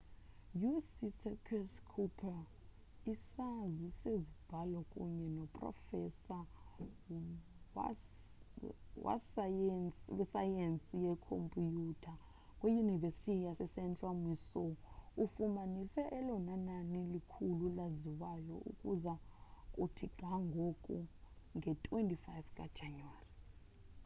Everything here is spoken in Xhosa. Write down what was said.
uc curtis cooper isazi sezibalo kunye noprofesa wesayensi yeekhompyuter kwiyunivesithi yasecentral missouri ufumanise elona nani likhulu laziwayo ukuza kuthi ga ngoku nge-25 kajanuwari